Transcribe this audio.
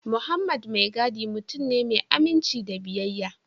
Mohammed maigiudi mutum ne mai aminci da biyayya